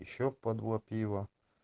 ещё по два пива